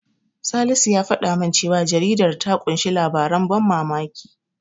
Salisu ya faɗa min cewa jaridar ta ƙunshi labaran ban mamaki.